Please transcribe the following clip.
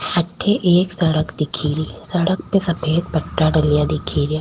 अठे एक सड़क दिख री सड़क पे सफ़ेद पट्टा डला दिख रा।